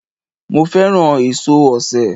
Mo fẹ́ràn èso osè